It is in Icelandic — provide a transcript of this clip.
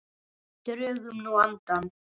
Drögum nú andann.